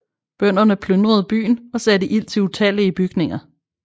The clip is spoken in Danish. Bønderne plyndrede byen og satte ild til utallige bygninger